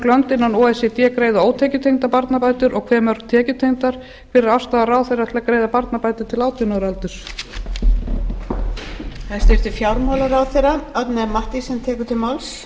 lönd innan o e c d greiða ótekjutengdar barnabætur og hve mörg tekjutengdar þriðji hver er afstaða ráðherra til þess að greiða barnabætur til átján ára aldurs og hvaða útgjöld hefði það í för með sér fyrir ríkissjóð